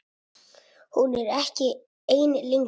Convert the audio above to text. Hún er ekki ein lengur.